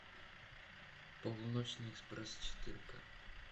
полуночный экспресс четырка